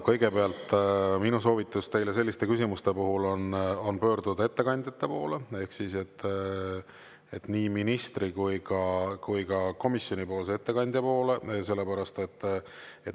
Kõigepealt, minu soovitus teile selliste küsimuste puhul on pöörduda ettekandjate poole ehk siis nii ministri kui ka komisjonipoolse ettekandja poole.